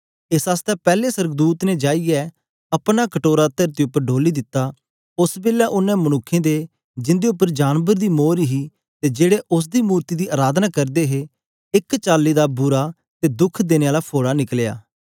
एस आसतै पैले सोर्गदूत ने जाईयै अपना कटोरा तरती उपर डोली दिता ओस बेलै ओनें मनुक्खें दे जिंदे उपर जानबर दी मोर ही ते जेड़े उस्स दी मूर्ति दी अराधना करदे हे एक चाली दा बुरा ते दुःख देने आला फोड़ा निकलया